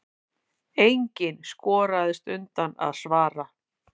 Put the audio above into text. Enginn skoraðist undan að svara.